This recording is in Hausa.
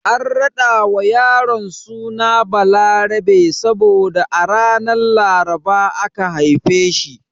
An rada wa yaron suna Balarabe saboda a ranar Laraba aka haife shi.